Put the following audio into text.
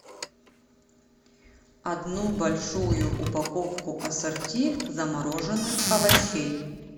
одну большую упаковку ассорти замороженных овощей